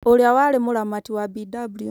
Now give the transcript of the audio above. Ũrĩa warĩ mũramati wa Bw.